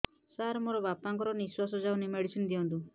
ସାର ମୋର ବାପା ଙ୍କର ନିଃଶ୍ବାସ ଯାଉନି ମେଡିସିନ ଦିଅନ୍ତୁ